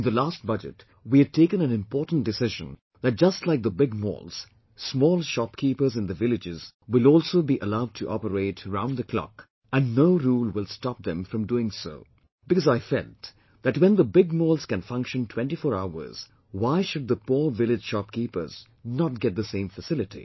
In the last budget we had taken an important decision that just like the big malls, small shopkeepers in the villages will also be allowed to operate round the clock and no rule will stop them from doing so because I felt that when the big malls can function 24 hours, why the poor villageshopkeepers should not get the same facility